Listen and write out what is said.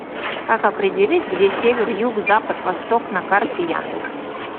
как определить где север юг запад восток на карте яндекс